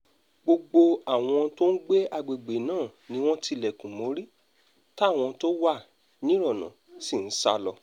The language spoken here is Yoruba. gbogbo àwọn tó ń gbé àgbègbè náà ni wọ́n tilẹ̀kùn mórí táwọn tó wà nírọ́nà sì ń sá lọ